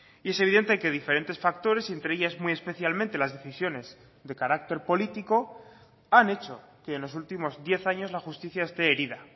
y es evidente que diferentes factores entre ellas muy especialmente las decisiones de carácter político han hecho que en los últimos diez años la justicia esté herida